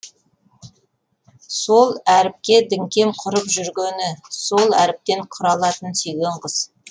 сол әріпке діңкем құрып жүргені сол әріптен құралатын сүйген қыз